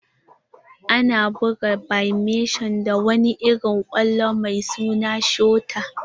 Ana buga badminton da wani irin kwallo mai suna shuta.